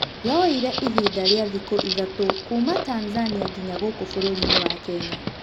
Yoire ihinda rĩa thikũ ithatũ kuuma Tanzania nginya gũkũ bũrũri-inĩ wa Kenya.